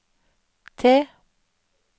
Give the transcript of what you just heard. T